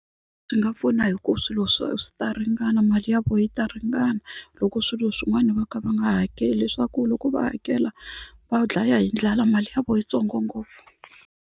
Swi nga pfuna hi ku swilo swi ta ringana mali ya koho yi ta ringana loko swilo swin'wana va kha va nga hakeli leswaku loko va hakela va dlaya hi ndlala mali ya vo yitsongo ngopfu.